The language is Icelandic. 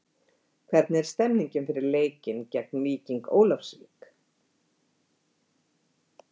Hvernig er stemmingin fyrir leikinn geng Víking Ólafsvík?